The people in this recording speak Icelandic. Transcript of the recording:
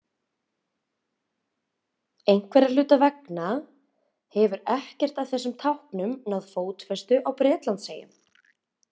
Einhverra hluta vegna hefur ekkert af þessum táknum náð fótfestu á Bretlandseyjum.